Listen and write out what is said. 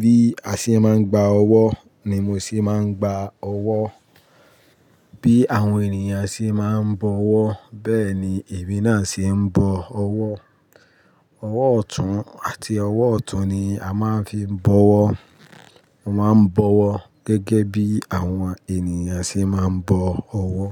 Bí a ṣe máa ń gba ọwọ́ ni mo ṣe máa ń gba ọwọ́. Bí àwọn ènìyàn ṣe máa ń bọ ọwọ́ bẹ́ẹ̀ ni èmi náà ṣe ń bọ ọwọ́. Ọwọ́ ọ̀tún àti ọwọ́ ọ̀tún ni a máa ń fi ń bọ ọwọ́. Mo máa ń bọ ọwọ́ gẹ́gẹ́ bí àwọn ènìyàn ṣe máa ń bọ ọwọ́